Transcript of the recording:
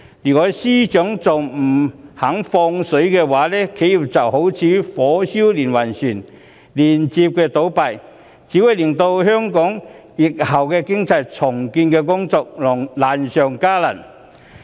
如果司長仍然不肯"放水"，企業就會如火燒連環船，接連倒閉，這只會令香港疫後的重建經濟工作難上加難。